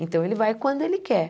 Então ele vai quando ele quer.